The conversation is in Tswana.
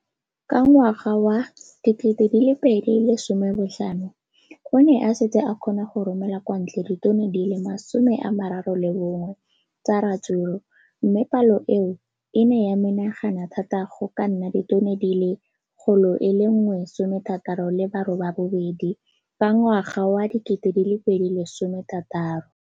Ka ngwaga wa 2015, o ne a setse a kgona go romela kwa ntle ditone di le 31 tsa ratsuru mme palo eno e ne ya menagana thata go ka nna ditone di le 168 ka ngwaga wa 2016.